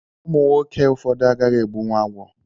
Ụmụnwoke ụfọdụ agaghị egbunwu agwọ